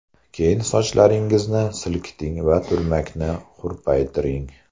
Keyin sochlaringizni silkiting va turmakni hurpaytiring.